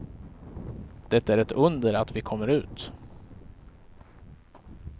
Det är ett under att vi kommer ut.